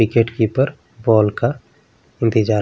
wicket keeper ball का इंतज़ार --